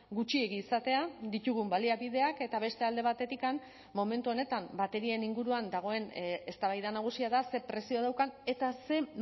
gutxiegi izatea ditugun baliabideak eta beste alde batetik momentu honetan baterien inguruan dagoen eztabaida nagusia da ze prezio daukan eta zein